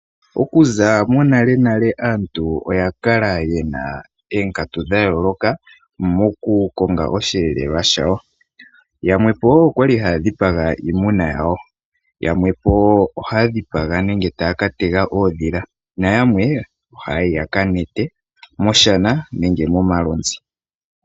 Okuza nale aantu oya kala yena oonkatu dha yooloka moku konga osheelelwa shawo. Yamwe okwali haya dhipaga iimuna yawo, yamwe okwali haya ka tega uudhila nayamwe ohaya yi yaka kwate moshana nenge momalunza